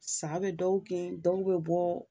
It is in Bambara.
Sa bɛ dɔw kin, dɔw bɛ bɔ